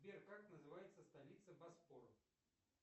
сбер как называется столица босфор